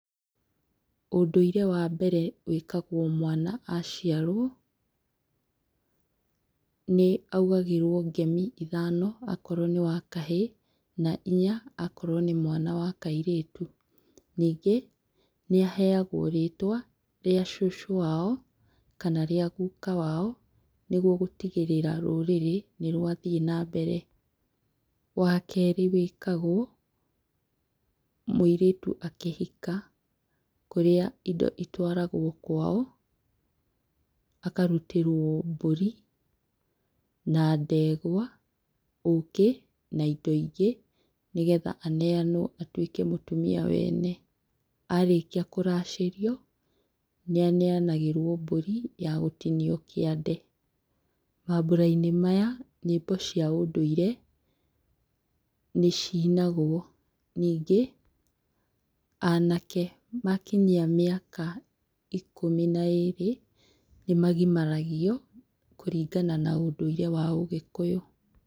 Ũndũire wambere wĩkagwo mwana aciarwo, nĩ augagĩrwo ngemi ithano okorwo nĩwakahĩ na inya okorwo nĩmwana wa kairĩtu. Nyingĩ, nĩahegwo rĩtwa rĩa cũcũ wao kana rĩa guka wao nĩguo gũtigĩrĩra rũrĩrĩ nĩrwathiĩ na mbere. Wakerĩ wĩkagwo mũirĩtu akĩhika, kũrĩa indo itwaragwo kwao, akarutĩrwo mbũri na ndegwa ũkĩ na indo ingĩ, nĩgetha aneanwo atuĩke mũtumia wene. Arĩkia kũracĩrio nĩ aneanagĩrwo mbũri ya gũtinio kĩande. Mambũra-inĩ maya, nyĩmbo cia ũndũire nĩcinagwo. Nyingĩ, anake makinyia miaka ikũmi na ĩrĩ nĩ magimaragio kũringana na ũndũire wa ũgĩkũyũ.